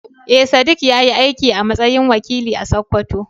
Eh, Sadiq ya yi aiki a matsayin wakili a Sakkwato.